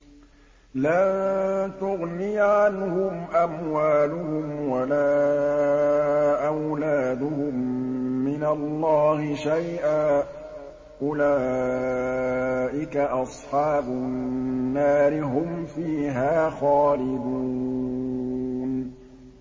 لَّن تُغْنِيَ عَنْهُمْ أَمْوَالُهُمْ وَلَا أَوْلَادُهُم مِّنَ اللَّهِ شَيْئًا ۚ أُولَٰئِكَ أَصْحَابُ النَّارِ ۖ هُمْ فِيهَا خَالِدُونَ